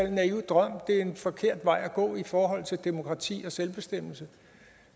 en naiv drøm det er en forkert vej at gå i forhold til demokrati og selvbestemmelse